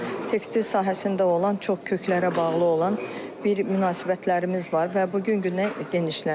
Tekstil sahəsində olan çox köklərə bağlı olan bir münasibətlərimiz var və bu gün günə genişlənir.